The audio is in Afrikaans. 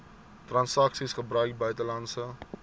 transaksies gebruik buitelandse